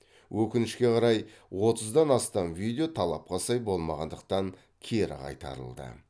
өкінішке қарай отыздан астам видео талапқа сай болмағандықтан кері қайтарылды